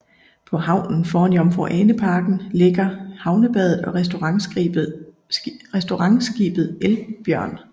På havnen foran Jomfru Ane Parken ligger Havnebadet og restaurantskibet Elbjørn